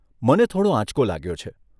મને થોડો આંચકો લાગ્યો છે.